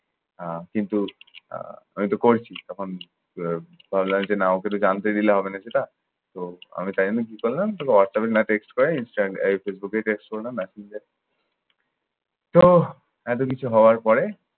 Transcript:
আহ কিন্তু আহ আমিতে পড়ছি তখন আহ ভাবলাম যে না ওকে তো জানতে দিলে হবে না সেটা। তো আমি তাই আমি কি করলাম, তোকে হোয়াটসঅ্যাপে text না করে ইনস্টা আহ ফেসবুকে text করলাম messenger এ। তো এত কিছু হওয়ার পরে